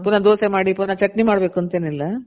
ಪುನಹ ದೋಸೆ ಮಾಡಿ ಪುನಹ ಚಟ್ನಿ ಮಾಡ್ಬೇಕು ಅಂತ ಏನಿಲ್ಲ.